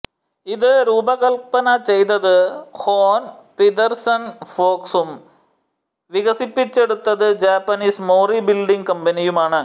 ഇത് രൂപകല്പന ചെയ്തത് ഹോൻ പിദെർസൺ ഫോക്സും വികസിപ്പിച്ചെടുത്തത് ജാപ്പനീസ് മോറി ബിൽഡിങ് കമ്പനിയുമാണ്